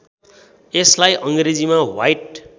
यसलाई अङ्ग्रेजीमा ह्वाइट